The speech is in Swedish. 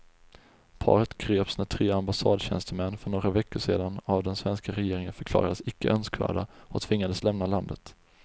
Paret greps när tre ambassadtjänstemän för några veckor sedan av den svenska regeringen förklarades icke önskvärda och tvingades lämna landet.